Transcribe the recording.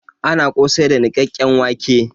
Ana kosai da nikkaken wãke.